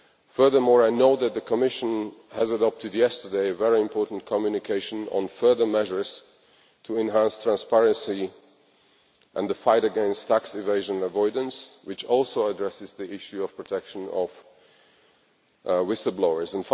Furthermore, I know that the Commission yesterday adopted a very important communication on further measures to enhance transparency and the fight against tax evasion and avoidance, which also addresses the issue of protection of whistle blowers.